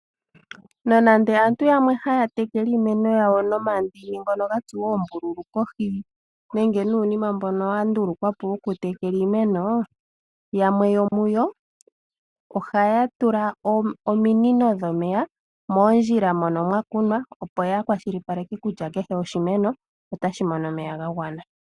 Nonando aantu yamwe haya tekele iimeno yawo nomandini ngono gatsuwa oombululu kohi nenge nuunima mbono wa ndulukwa po woku tekela iimeno, yamwe yomuyo ohaya tula ominino dhomeya moondjila mono mwakunwa opo yakwashilipaleke kutya kehe oshimeno otashi mono omeya gagwana.